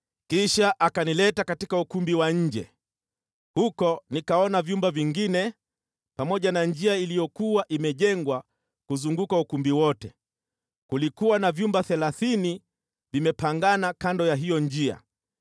Kisha akanileta katika ukumbi wa nje. Huko nikaona vyumba vingine pamoja na njia iliyokuwa imejengwa kuzunguka ukumbi wote, kulikuwa na vyumba thelathini vimepangana kando ya hiyo njia.